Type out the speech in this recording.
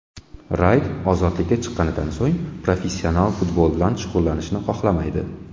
Rayt ozodlikka chiqqanidan so‘ng professional futbol bilan shug‘ullanishni xohlamaydi.